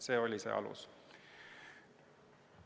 See oligi see alus.